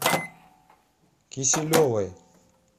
киселевой